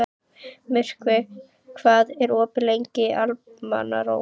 Myrkvi, hvað er opið lengi í Almannaróm?